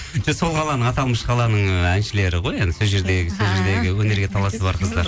сол қаланың аталмыш қаланың ы әншілері ғой сол жердегі өнерге таласы бар қыздар